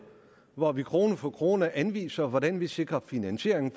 hvor vi krone for krone anviser hvordan vi sikrer finansieringen